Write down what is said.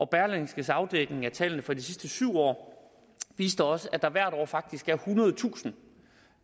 berlingskes afdækning af tallene fra de sidste syv år viste også at der hvert år faktisk er ethundredetusind